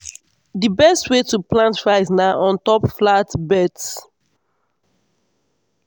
di best way to plant rice na on top flat beds.